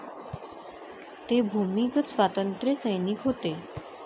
ते भूमिगत स्वातंत्र्यसैनिक होते.